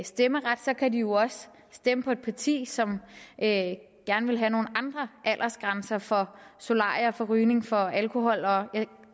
stemmeret kan de jo også stemme på et parti som gerne vil have nogle andre aldersgrænser for solarie for rygning og for alkohol jeg